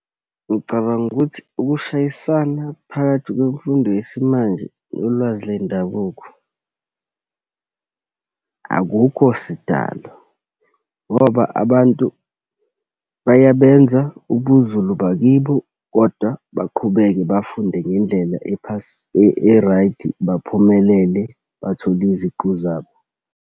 Ngicabanga ukuthi ukushayisana phakathi kwemfundo yesimanje nolwazi lendabuko, akukho sidalo. Ngoba abantu bayabenza ubuZulu bakibo kodwa baqhubeke bafunde ngendlela e-pass, baphumelele bathole iziqu zabo.